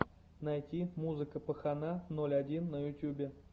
найти музыка пахана ноль один на ютубе